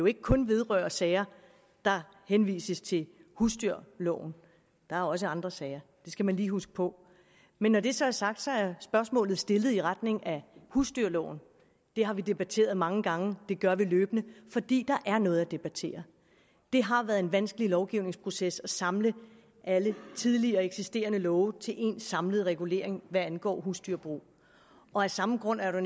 ikke kun vedrører sager der henviser til husdyrloven der er også andre sager det skal man lige huske på men når det så er sagt er spørgsmålet stillet i retning af husdyrloven det har vi debatteret mange gange det gør vi løbende fordi der er noget at debattere det har været en vanskelig lovgivningsproces at samle alle tidligere eksisterende love til én samlet regulering hvad angår husdyrbrug og af samme grund er der